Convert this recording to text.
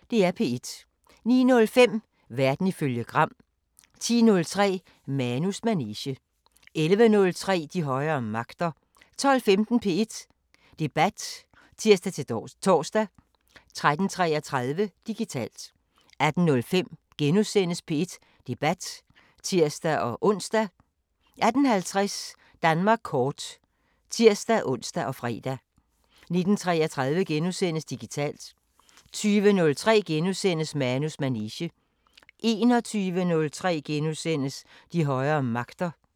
09:05: Verden ifølge Gram 10:03: Manus manege 11:03: De højere magter 12:15: P1 Debat (tir-tor) 13:33: Digitalt 18:05: P1 Debat *(tir-ons) 18:50: Danmark kort (tir-ons og fre) 19:33: Digitalt * 20:03: Manus manege * 21:03: De højere magter *